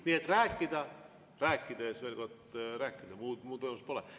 Nii et rääkida, rääkida ja veel kord rääkida, muud võimalust pole.